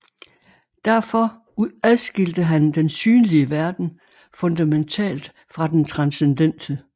Derfor adskilte han den synlige verden fundamentalt fra den transcendente